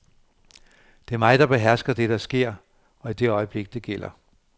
Det er mig, der behersker det, der sker, og i det øjeblik det gælder.